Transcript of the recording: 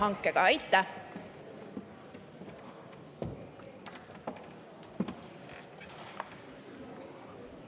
Aitäh!